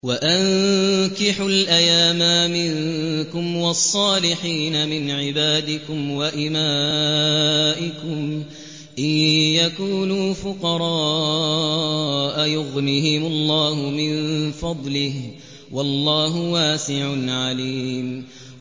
وَأَنكِحُوا الْأَيَامَىٰ مِنكُمْ وَالصَّالِحِينَ مِنْ عِبَادِكُمْ وَإِمَائِكُمْ ۚ إِن يَكُونُوا فُقَرَاءَ يُغْنِهِمُ اللَّهُ مِن فَضْلِهِ ۗ وَاللَّهُ وَاسِعٌ عَلِيمٌ